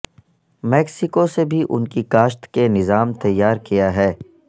Mexico سے بھی ان کی کاشت کے نظام تیار کیا ہے